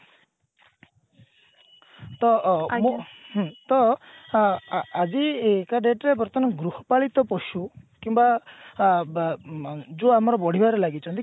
ତ ଅ ହୁଁ ତ ଅ ଆ ଆଜିକା date ରେ ବର୍ତମାନ ଗୃହପାଳିତ ପଶୁ କିମ୍ବା ଆ ବ ମ ଯୋଉ ଆମର ବଢିବାରେ ଲାଗିଛନ୍ତି କିନ୍ତୁ